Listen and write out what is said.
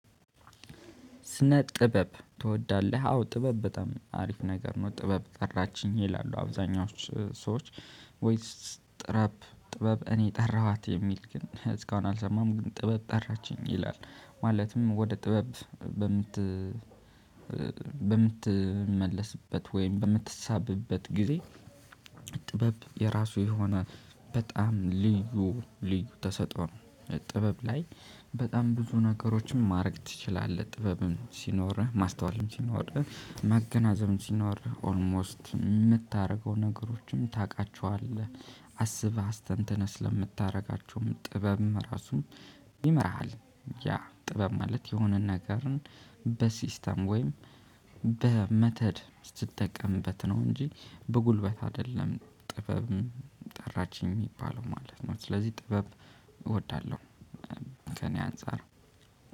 ስነ ጥበብ ትወዳለህ? አዎ ጥበብ በጣም አሪፍ ነገር ነው። ጥበብ ጠራችኝ ይላሉ አብዛኛዎቹ ሰዎች። ወይስ ጥበብ ጥበብ እኔ ጠራኋት የሚል ግን እስካሁን አልሰማሁም። ግን ጥበብ ጠራችኝ ይላል ማለትም ወደ ጥበብ በምት በምትመለስበት ወይም በምትሳብበት ጊዜ። ጥበብ የራሱ የሆነ በጣም ልዩ ልዩ ተሰጥኦ። ጥበብ ላይ በጣም ብዙ ነገሮችን ማድረግ ትችላለህ። ጥበብም ሲኖርህ ማስተዋልም ሲኖርህ ማገናዘብም ሲኖርህ ኦልሞስት የምታደርገው ነገሮችንም ታውቃቸዋለህ። አስበህ አስተንተነህ ስለምታደርጋቸውም ጥበብም ራሱ ይመራሃል። ያ ጥበብ ማለት የሆነን ነገርን በሲስተም ወይም በሜትድ ስትጠቀምበት ነው። እንጂ በጉልበት አይደለም። ጥበብ ጠራችኝ የሚባለው ማለት ነው። ስለዚህ ጥበብ እወዳለሁ። ከእኔ አንፃር።